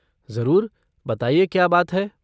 जरूर, बताइए क्या बात है।